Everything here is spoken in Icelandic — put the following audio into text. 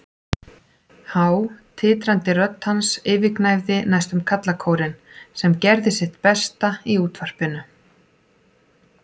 Há, titrandi rödd hans yfirgnæfði næstum karlakórinn, sem gerði sitt besta í útvarpinu.